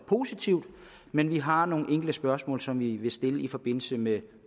positivt men vi har nogle enkelte spørgsmål som vi vil stille i forbindelse med